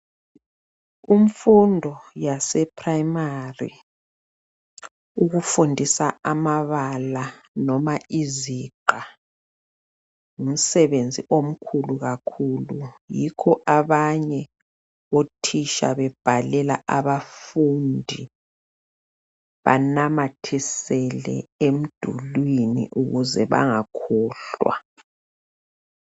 Umfundo yaseprimary ukufundisa amabala noma iziqha ngumsebenzi omkhulu kakhulu yikho abanye othitsha bebhalela abanye abafundi banamathisele emdulwini ukuze bangakhohlwa